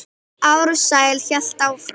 Ársæll hélt áfram.